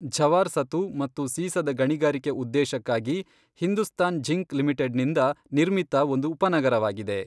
ಝವಾರ್ ಸತು ಮತ್ತು ಸೀಸದ ಗಣಿಗಾರಿಕೆ ಉದ್ದೇಶಕ್ಕಾಗಿ ಹಿಂದುಸ್ತಾನ್ ಝಿಂಕ್ ಲಿಮಿಟೆಡ್ನಿಂದ, ನಿರ್ಮಿತ ಒಂದು ಉಪನಗರವಾಗಿದೆ. .